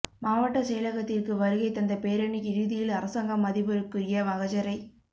மாவட்ட செயலக்த்திக்கு வருகை தந்த பேரணி இறுதியில் அரசாங்கம் அதிபருக்குரிய மகஜரை